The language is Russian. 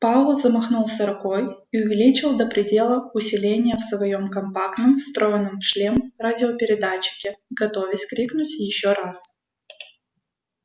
пауэлл замахнулся рукой и увеличил до предела усиление в своём компактном встроенном в шлем радиопередатчике готовясь крикнуть ещё раз